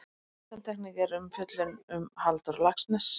Undantekning er umfjöllun um Halldór Laxness.